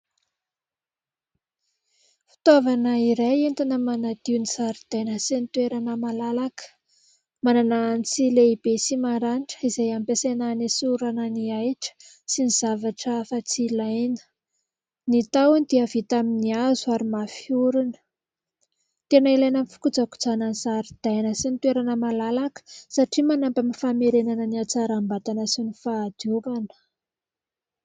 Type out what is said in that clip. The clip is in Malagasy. Fitaovana iray entina manadio ny zaridaina sy ny toerana malalaka, manana antsy lehibe sy maranitra izay ampiasaina hanesorana ny ahitra sy ny zavatra hafa tsy ilaina, ny tahony dia vita amin'ny hazo ary mafy orina. Tena ilaina amin'ny fikojakojana ny zaridaina sy ny toerana malalaka satria manampy amin'ny famerenana ny hatsaram-batana sy ny fahadiovana.